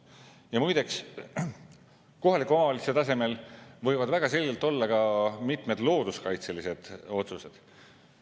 Ja muide, kohaliku omavalitsuse tasemel võivad väga selgelt olla ka mitmed looduskaitselised otsused.